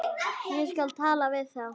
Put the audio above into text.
Ég skal tala við þá.